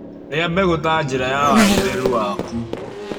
Rĩa mbegũ ta njĩra ya wagĩrĩru waku